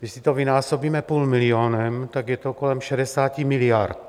Když si to vynásobíme půl milionem, tak je to kolem 11 miliard.